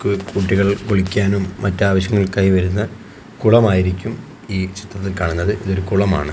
കുട്ടികൾ കുളിക്കാനും മറ്റ് ആവശ്യങ്ങൾക്കായി വരുന്ന കുളമായിരിക്കും ഈ ചിത്രത്തിൽ കാണുന്നത് ഇതൊരു കുളമാണ്.